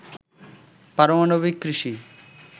পারমাণবিক কৃষি